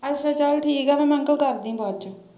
ਅੱਛਾ ਚੱਲ ਠੀਕ ਆ ਫਿਰ ਮੈਨੂੰ ਤੂੰ ਕਰਦੀ ਬਾਅਦ ਚੋਂ।